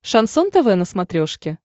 шансон тв на смотрешке